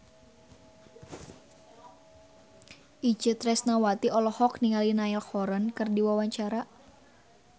Itje Tresnawati olohok ningali Niall Horran keur diwawancara